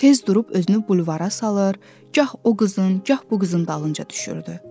Tez durub özünü bulvara salır, gah o qızın, gah bu qızın dalınca düşürdü.